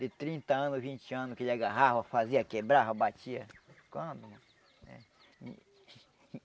De trinta anos, vinte anos que ele agarrava, fazia, quebrava, batia.